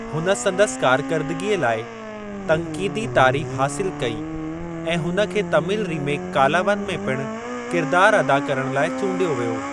हुन संदसि कारकरदगीअ लाइ तन्क़ीदी तारीफ़ हासिलु कई ऐं हुन खे तमिल रीमेक कालावन में पिणु किरिदारु अदा करणु लाइ चूंडियो वियो।